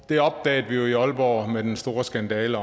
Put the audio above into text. det opdagede vi jo i aalborg med den store skandale